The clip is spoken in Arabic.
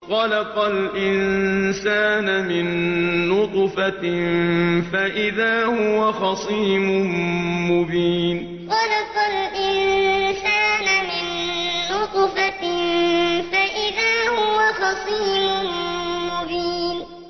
خَلَقَ الْإِنسَانَ مِن نُّطْفَةٍ فَإِذَا هُوَ خَصِيمٌ مُّبِينٌ خَلَقَ الْإِنسَانَ مِن نُّطْفَةٍ فَإِذَا هُوَ خَصِيمٌ مُّبِينٌ